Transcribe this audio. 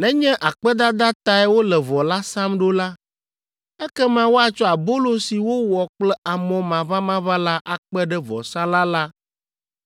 “Nenye akpedada tae wole vɔ la sam ɖo la, ekema woatsɔ abolo si wowɔ kple amɔ maʋamaʋã la akpe ɖe vɔsalã la